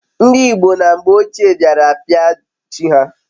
ndi igbo na mgbe ochie diara apia chi ha